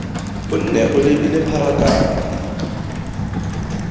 o nne o labile pharakano